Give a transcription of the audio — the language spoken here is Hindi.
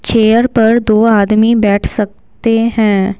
चेयर पर दो आदमी बैठ सकते हैं।